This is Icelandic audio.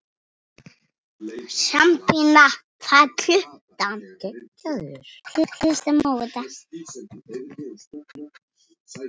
Sabína, hvað er klukkan?